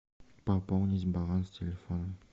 пополнить баланс телефона